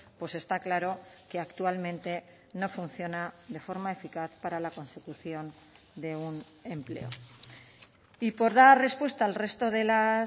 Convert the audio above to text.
pues está claro que actualmente no funciona de forma eficaz para la consecución de un empleo y por dar respuesta al resto de las